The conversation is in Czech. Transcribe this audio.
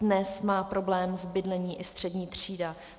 Dnes má problém s bydlením i střední třída.